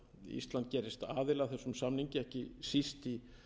að þessum samningi ekki síst í